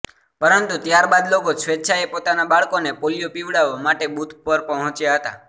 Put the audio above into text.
પરંતુ ત્યારબાદ લોકો સ્વૈચ્છાએ પોતાના બાળકોને પોલીયો પીવડાવવા માટે બુથ પર પહોંચ્યા હતા